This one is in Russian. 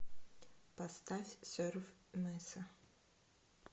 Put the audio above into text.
поставь серф меса